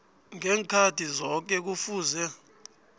ngeenkhathi zoke kufuze